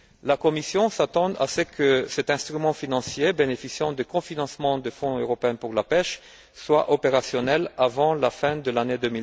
La Commission s'attend à ce que cet instrument financier bénéficiant des cofinancements du Fonds européen pour la pêche soit opérationnel avant la fin de l'année